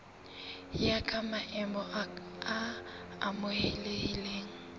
ya ka maemo a amohelehileng